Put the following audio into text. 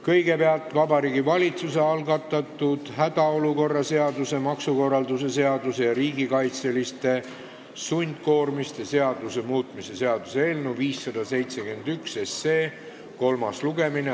Kõigepealt on Vabariigi Valitsuse algatatud hädaolukorra seaduse, maksukorralduse seaduse ja riigikaitseliste sundkoormiste seaduse muutmise seaduse eelnõu 571 kolmas lugemine.